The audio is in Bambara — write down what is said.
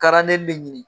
ne ɲini